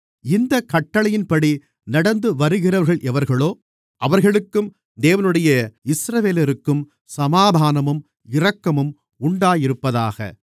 இந்தக் கட்டளையின்படி நடந்துவருகிறவர்கள் எவர்களோ அவர்களுக்கும் தேவனுடைய இஸ்ரவேலருக்கும் சமாதானமும் இரக்கமும் உண்டாயிருப்பதாக